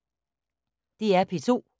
DR P2